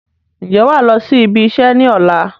Ǹjẹ́ wàá lọ sí ibi iṣẹ́ ni ọ̀la?